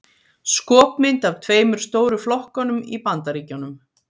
skopmynd af tveimur stóru flokkunum í bandaríkjunum